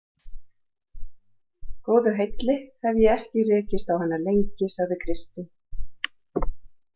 Góðu heilli hef ég ekki rekist á hana lengi, sagði Kristín.